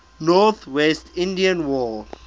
northwest indian war